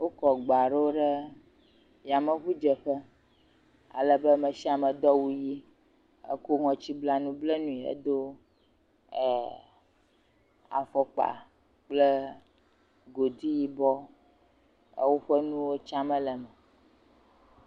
Wokɔ gba aɖewo ɖe yameŋudzeƒe. Alebe me shia me do awu ʋi, ekɔ ŋɔtsiblanu blanɛ hedo ɛɛɛ afɔkpa kple godi yibɔ ɛɛ woƒe nuwo tsamee le eme.